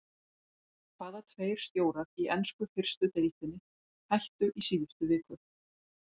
Hvaða tveir stjórar í ensku fyrstu deildinni hættu í síðustu viku?